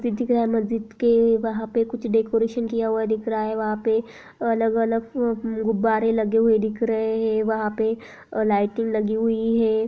मस्जिद दिख्रा है मस्जिद के वहाँ पे कुछ डेकोरेशन किया हुआ दिख रहा है वहाँ पे अलग-अलग गुब्बारे लगे हुए दिख रहे हैं वहाँ पे लाइटिंग लगी हुई है।